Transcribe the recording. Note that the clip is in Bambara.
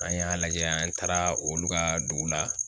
An y'a lajɛ an taara olu ka dugu la